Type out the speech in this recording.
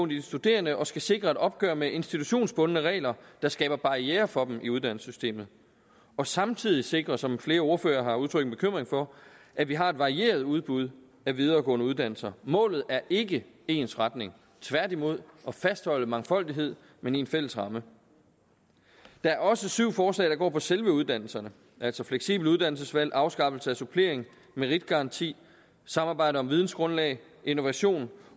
de studerende og skal sikre et opgør med institutionsbundne regler der skaber barrierer for dem i uddannelsessystemet og samtidig sikrer som flere ordførere har udtrykt bekymring for at vi har et varieret udbud af videregående uddannelser målet er ikke ensretning tværtimod at fastholde mangfoldighed men i en fælles ramme der er også syv forslag der går på selve uddannelserne altså fleksible uddannelsesvalg afskaffelse af supplering meritgaranti samarbejde om vidensgrundlag innovation